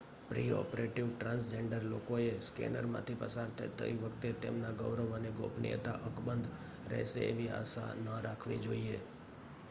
pre-operative transgender લોકોએ સ્કૅનરમાંથી પસાર થતી વખતે તેમના ગૌરવ અને ગોપનીયતા અકબંધ રહેશે એવી આશા ન રાખવી જોઈએ